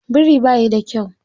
Biri bayi da kyau.